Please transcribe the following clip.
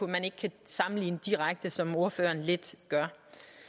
man ikke kan sammenligne direkte som ordføreren lidt gør